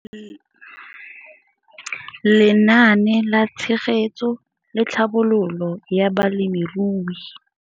Lenaane la Tshegetso le Tlhabololo ya Balemirui